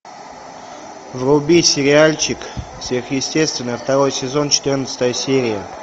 вруби сериальчик сверхъестественное второй сезон четырнадцатая серия